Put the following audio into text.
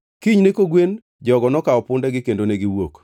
Kinyne kogwen, jogo nokawo pundegi kendo negiwuok.